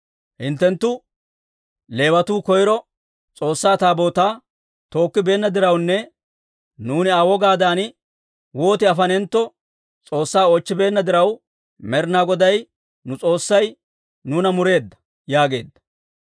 Hinttenttu Leewatuu koyro S'oossaa Taabootaa tookkibeenna dirawunne nuuni Aa wogaadan woot afanentto S'oossaa oochchibeenna diraw, Med'inaa Goday nu S'oossay nuuna mureedda» yaageedda.